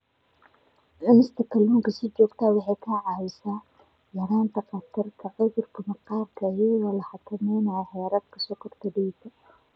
Cunista kalluunka si joogto ah waxay kaa caawinaysaa yaraynta khatarta cudurka macaanka iyadoo la xakameynayo heerarka sonkorta dhiigga.